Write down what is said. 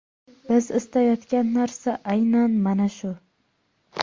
Biz istayotgan narsa aynan mana shu.